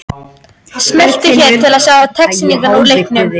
Smelltu hér til að sjá textalýsingu úr leiknum